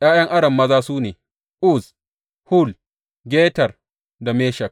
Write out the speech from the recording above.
’Ya’yan Aram maza su ne, Uz, Hul, Geter da Meshek.